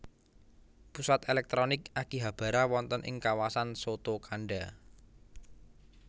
Pusat èlèktronik Akihabara wonten ing kawasan Sotokanda